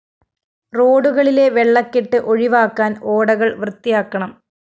റോഡുകളിലെ വെള്ളക്കെട്ട് ഒഴിവാക്കാന്‍ ഓടകള്‍ വൃത്തിയാക്കണം